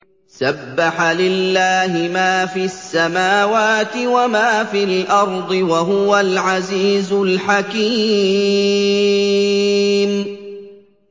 سَبَّحَ لِلَّهِ مَا فِي السَّمَاوَاتِ وَمَا فِي الْأَرْضِ ۖ وَهُوَ الْعَزِيزُ الْحَكِيمُ